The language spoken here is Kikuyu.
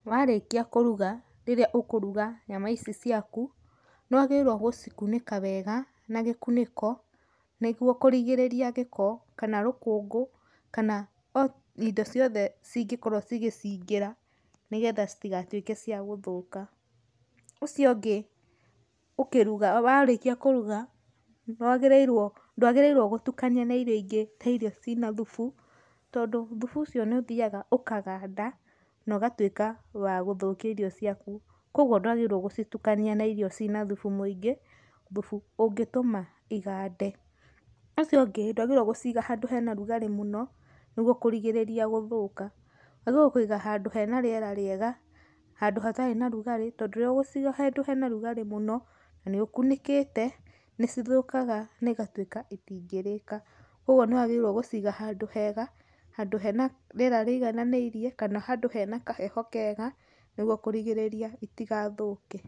Warĩkia kũruga, rĩrĩa ũkuruga nyama ici ciaku, nĩ wagĩrĩrwo gũcikunĩka wega na gĩkunĩko nĩguo kũrigĩrĩria gĩko, kana rũkungũ, kana o indo ciothe cingĩkorwo cigĩcingĩra nĩgetha citigatwĩke ciagũthũka, ũcio ũngĩ, ũkĩruga, warĩkia kũruga, nĩwagĩrĩrwo, ndagĩrĩrwo gũtukania na irio ingĩ, ta irio cĩna thubu, tondũ thubu ũcio nĩ ũthiaga ũkaganda, no gatuĩka wa gũthũkia irio cĩaku, kogwo ndwagĩrĩrwo gũcitukania na irio cina thubu mũingĩ, thubu ũngĩtoma igande, ũcio ũngĩ ndwagĩrĩrwo gũciga handũ hena rugarĩ mũno, nĩguo kũrigĩrĩria gũthũka, wagĩrĩrwo kwiga handũ hena rĩera rĩega, handũ hatarĩ na rugarĩ tondũ rĩria ũgũciga handũ hena rugarĩ mũno na nĩũkunĩkĩte nĩcithũkaga na igatuĩka itingĩrĩka, kogwo nĩ wagĩrĩrie gũciga handũ hega, handũ hena rĩera rĩigananĩrie, kana handũ hena kaheho kega nĩguo kũrigĩrĩria itagathũke.